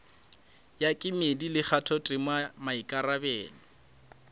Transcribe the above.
ya kemedi le kgathotema maikarabelo